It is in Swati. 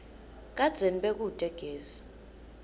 kadzeni bekute gesi